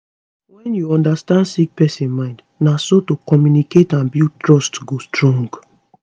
wne u understand sick pesin mind na so to communicate and build trust go strong